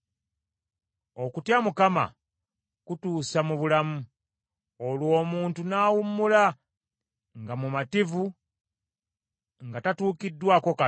Okutya Mukama kutuusa mu bulamu; olwo omuntu n’awummula nga mumativu nga tatuukiddwako kabi.